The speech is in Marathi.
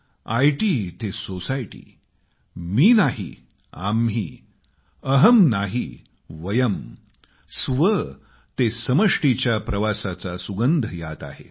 आयटी ते सोसायटी मी नाही आम्ही अहं नाही वयं स्व ते समष्टीच्या प्रवासाचा सुगंध यात आहे